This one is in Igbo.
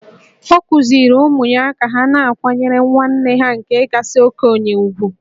Ọ kụziiri ụmụ ya ka ha na-akwanyere nwanne ha nke kasị okenye ùgwù